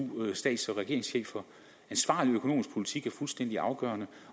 stats og regeringschefer ansvarlig økonomisk politik er fuldstændig afgørende